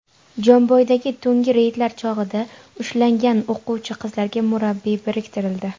Jomboydagi tungi reydlar chog‘ida ushlangan o‘quvchi qizlarga murabbiy biriktirildi.